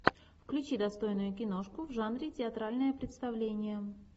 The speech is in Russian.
включи достойную киношку в жанре театральное представление